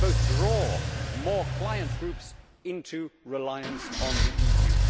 They both draw more client groups into reliance on the EU.